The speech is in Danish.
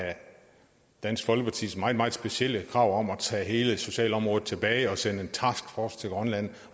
dansk folkepartis meget meget specielle krav om at tage hele socialområdet tilbage og sende en taskforce til grønland